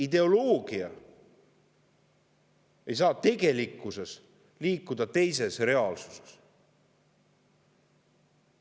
Ideoloogia ei saa liikuda teises reaalsuses.